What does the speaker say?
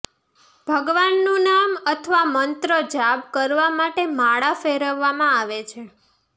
ભગવાનનું નામ અથવા મંત્ર જાબ કરવા માટે માળા ફેરવવામાં આવે છે